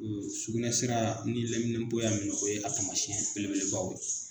Sukunɛsira ni laminɛpo y'a minɛ o ye a taamasiyɛn belebelebaw ye .